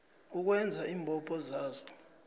ukwenza iimbopho zayo